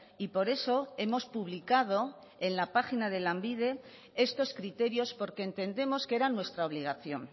y por eso hemos publicado en la página de lanbide estos criterios porque entendemos que eran nuestra obligación